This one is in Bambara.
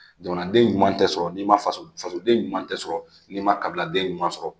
Jamanaden ɲuman tɛ sɔrɔ n'i ma faso fasoden ɲuman tɛ sɔrɔ n'i ma kabiladen ɲuman sɔrɔ